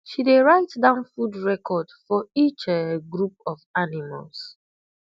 she dey write down food record for each um group of animals